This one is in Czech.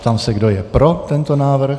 Ptám se, kdo je pro tento návrh.